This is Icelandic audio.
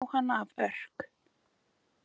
Jóhanna af Örk.